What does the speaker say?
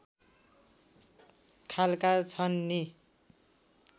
खालका छन् नि